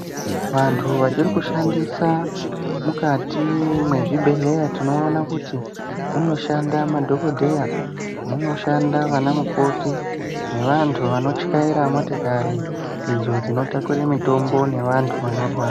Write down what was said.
Vanthu vachiri kushandisa mukati mwezvibhedhlera, tinoona kuti munoshanda madhokodheya, munoshanda vanamukoti ,nevantu vanotyaira motokari idzo dzinotware mitombo nevantu vanorwara.